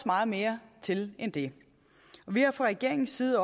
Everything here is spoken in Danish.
meget mere til end det vi har fra regeringens side